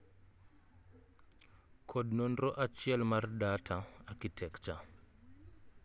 Kod nonro achiel mar data architecture